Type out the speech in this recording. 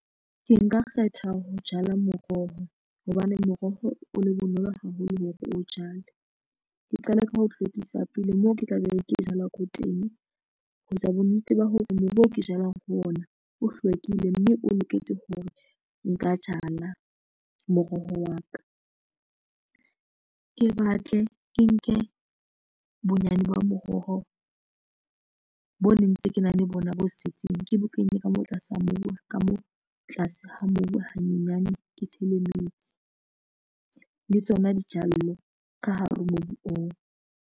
Ke nka kgetha ho jala moroho hobane moroho o le bonolo haholo hore o jale. Ke qale ka ho hlwekisa pele moo ke tla beng ke jala ko teng. Ho etsa bonnete ba hore mobu o ke jalang ho ona o hlwekile mme o loketse hore nka jala moroho wa ka ke batle ke nke bonyane ba moroho bo ne ntse ke na le bona bo setseng ke bo kenye ka mo tlase mobu wa ka moo tlase ha mobu hanyenyane ke tshele metsi le tsona dijalo ka hare ho mobu oo.